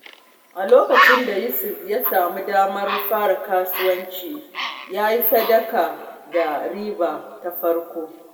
A lokacin da Yusuf ya sami damar fara harkar kasuwanci, ya yi sadaka da riba ta farko.